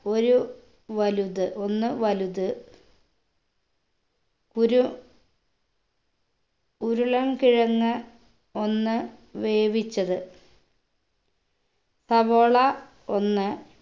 ഒരു വലുത് ഒന്ന് വലുത് ഉരു ഉരുളൻകിഴങ് ഒന്ന് വേവിച്ചത് സവോള ഒന്ന്